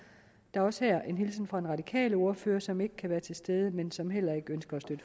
er også her en hilsen fra den radikale ordfører som ikke kan være til stede men som heller ikke